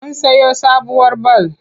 Mun sayo sabuwar bal.